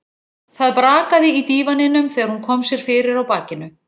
Það brakaði í dívaninum þegar hún kom sér fyrir á bakinu.